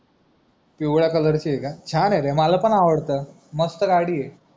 पिवड्या COLOUR ची आहे का छान आहे रे मला पण मला आवडते मस्त गाडी आहे